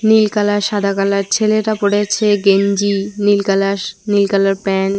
নীল colour সাদা colour ছেলেটা পড়েছে গেঞ্জি নীল কালার নীল কালার প্যান্ট ।